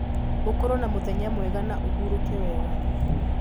ũkorwo na mũthenya mwega na ũhurũke wega.